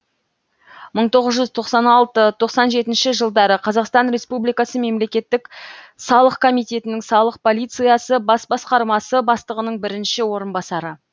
мың тоғыз жүз тоқсан алты тоқсан жеті жылдары қазақстан республикасы мемлекеттік салық комитетінің салық полициясы бас басқармасы бастығының бірінші орынбасары